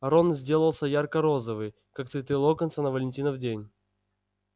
рон сделался ярко-розовый как цветы локонса на валентинов день